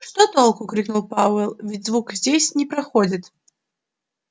что толку крикнул пауэлл ведь звук здесь не проходит